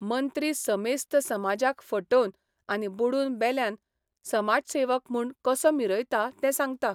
मंत्री समेस्त समाजाक फटोवन आनी बुडून बेल्यान समाजसेवक म्हूण कसो मिरयता तें सांगता.